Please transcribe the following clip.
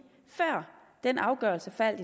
er det